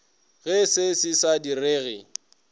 ge se se sa direge